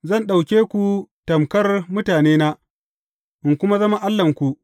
Zan ɗauke ku tamƙar mutanena, in kuma zama Allahnku.